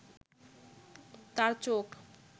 তাঁর চোখ